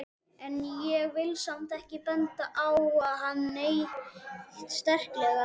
En ég vil samt ekki benda á hann neitt sérstaklega.